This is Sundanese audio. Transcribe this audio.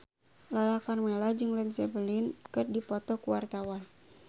Lala Karmela jeung Led Zeppelin keur dipoto ku wartawan